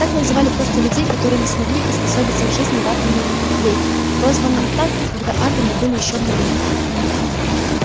так называли просто людей которые не смогли приспособиться к жизни в атомном веке прозванном так когда атомы были ещё в новинку